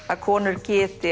að konur geti